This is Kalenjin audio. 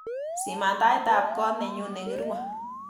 Siman taitab koot nenyu negirue